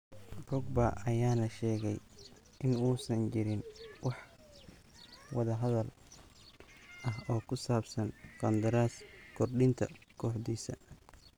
Pogba ayaana sheegay in uusan jirin wax wadahadal ah oo ku saabsan qandaras kordhinta kooxdiisa.